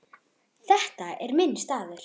Þetta er minn staður.